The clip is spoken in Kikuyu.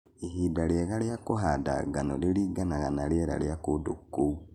Ihinda rĩega rĩa kũhanda ngano rĩringanaga na rĩera rĩa kũndũ kũu.